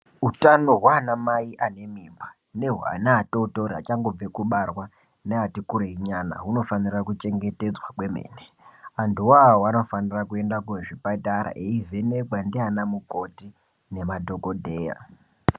Utano hwaana mai ane mimba nehwaana atotoriachangobve kubarwa neatinkurei nyana hunofanira kuchengetedzwa kwemene antuwa vanofanira kuende kuzvipatara veivhenekwa ndiana mukoti nemadhokodhera.